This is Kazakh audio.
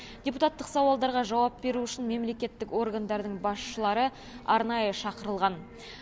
депутаттық сауалдарға жауап беру үшін мемлекеттік органдардың басшылары арнайы шақырылған